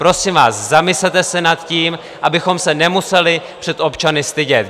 Prosím vás, zamyslete se nad tím, abychom se nemuseli před občany stydět.